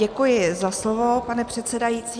Děkuji za slovo, pane předsedající.